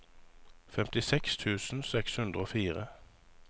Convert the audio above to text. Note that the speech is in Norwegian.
femtiseks tusen seks hundre og fire